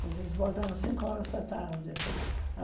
Vocês voltam às cinco horas da tarde.